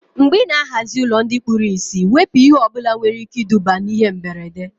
Mgbe ị ná-ahazi ụlọ ndị kpụrụ isi, wepụ ihe ọbụla nwere ike iduba na ihe mberede